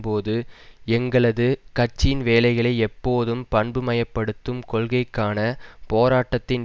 போது எங்களது கட்சியின் வேலைகளை எப்போதும் பண்புமயப்படுத்தும் கொள்கைக்கான போராட்டத்தின்